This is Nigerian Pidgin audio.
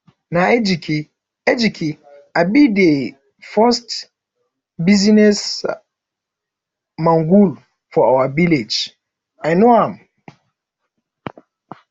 na ejike ejike um be the first business um mogul for our village i know am